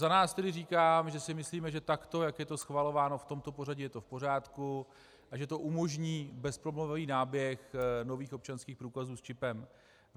Za nás tedy říkám, že si myslíme, že takto, jak je to schvalováno, v tomto pořadí je to v pořádku a že to umožní bezproblémový náběh nových občanských průkazů s čipem.